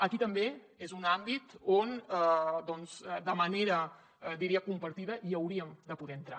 aquí també és un àmbit on doncs de manera diria compartida hi hauríem de poder entrar